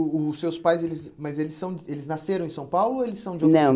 O os seus pais, eles mas eles são de eles nasceram em São Paulo ou eles são de outra? não